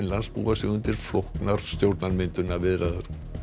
búa sig undir flóknar stjórnarmyndunarviðræður